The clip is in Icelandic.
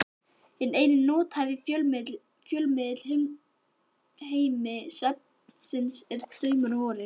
Hinn eini nothæfi fjölmiðill í heimi svefnsins eru draumar vorir.